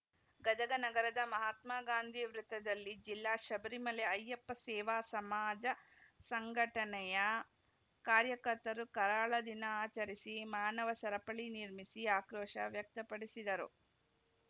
ಗದಗ ನಗರದ ಮಹಾತ್ಮ ಗಾಂಧಿ ವೃತ್ತದಲ್ಲಿ ಜಿಲ್ಲಾ ಶಬರಿಮಲೆ ಅಯ್ಯಪ್ಪ ಸೇವಾ ಸಮಾಜ ಸಂಘಟನೆಯ ಕಾರ್ಯಕರ್ತರು ಕರಾಳ ದಿನ ಆಚರಿಸಿ ಮಾನವ ಸರಪಳಿ ನಿರ್ಮಿಸಿ ಆಕ್ರೋಶ ವ್ಯಕ್ತಪಡಿಸಿದರು